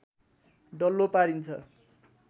डल्लो पारिन्छ